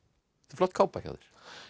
flott kápa hjá þér